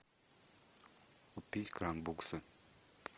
купить кран буксы